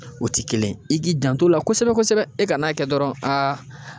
O ti kelen ye, i k'i janto a la kosɛbɛ kosɛbɛ e ka n'a kɛ dɔrɔn aa